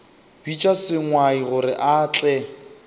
bitša sengwai gore a tle